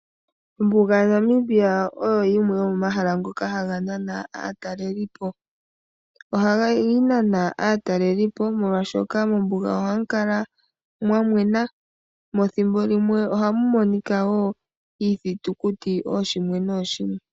Ombuga yomu Namibia oyo yimwe yomomahala ngoka haga nana aatalelipo. Ohayi nana aatalelipo molwaashoka mombuga ohamu kala mwa mwena. Mo ethimbo limwe ohamu monika woo iithitikuti ooshimwe nooshimwe.